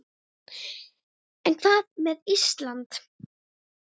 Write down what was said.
En hvað með Ísland?